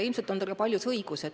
Ilmselt on teil ka paljus õigus.